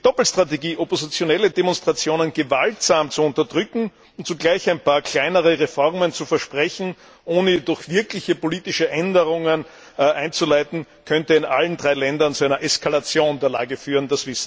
Die Doppelstrategie, oppositionelle Demonstrationen gewaltsam zu unterdrücken und zugleich ein paar kleinere Reformen zu versprechen, ohne sie durch wirkliche politische Änderungen einzuleiten, könnte in allen drei Ländern zu einer Eskalation der Lage führen.